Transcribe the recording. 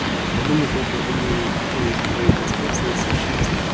подумать только именно при помощи твоей конструкции совершается большая